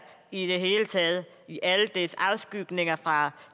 i det hele taget i alle dens afskygninger fra